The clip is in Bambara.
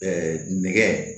nɛgɛ